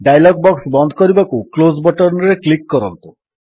dialog box ବନ୍ଦ କରିବାକୁ close button ରେ କ୍ଲିକ୍ କରନ୍ତୁ